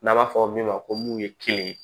N'a b'a fɔ min ma ko mun ye kelen ye